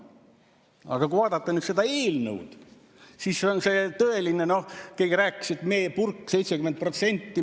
Aga kui vaadata nüüd seda eelnõu, siis on see tõeline, keegi rääkis, et meepurk, 70%.